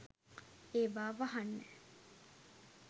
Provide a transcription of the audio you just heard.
ඒවා වහන්න